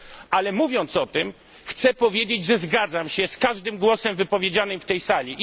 Ale mówiąc o tym, chcę powiedzieć, że zgadzam się z każdym głosem wypowiedzianym w tej sali.